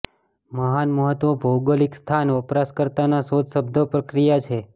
મહાન મહત્વ ભૌગોલિક સ્થાન વપરાશકર્તાના શોધ શબ્દો પ્રક્રિયા છે